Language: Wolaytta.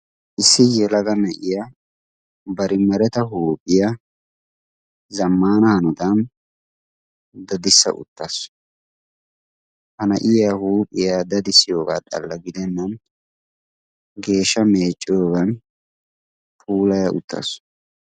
issi zelaga na7iya bari mareta huuphiya zammanaa hanotan dadissa uttaasu hana7iya huuphiyaa dadissiyoogaa xalla gidennan geesha meecciyoogan puulaa uttaasu